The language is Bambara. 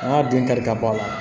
An ka dun kari ka bɔ a la